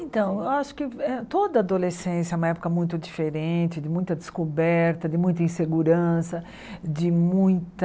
Então, eu acho que eh toda adolescência é uma época muito diferente, de muita descoberta, de muita insegurança, de muita...